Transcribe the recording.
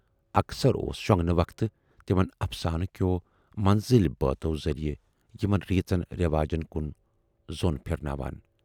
اکثر اوس شۅنگنہٕ وَقتہٕ تِمن اَفسانہٕ کٮ۪و مٔنزٕلۍ بٲتھو ذٔریہِ یِمن ریٖژن رٮ۪واجن کُن ظۅن پھِرٕناوان۔